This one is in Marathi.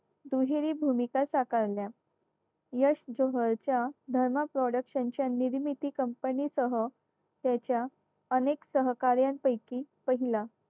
दुहेरी भूमिका साकारल्या यश जोहर च्या धर्मा production च्या निर्मिती company सह याच्या अनेक सहकाऱ्यांपैकी पहिला